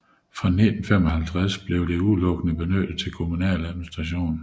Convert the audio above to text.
Fra 1955 blev det udelukkende benyttet til kommunal administration